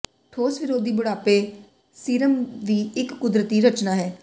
ਠੋਸ ਵਿਰੋਧੀ ਬੁਢਾਪੇ ਸੀਰਮ ਵੀ ਇੱਕ ਕੁਦਰਤੀ ਰਚਨਾ ਹੈ